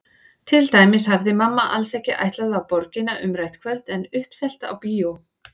Til dæmis hafði mamma alls ekki ætlað á Borgina umrætt kvöld en uppselt á bíó.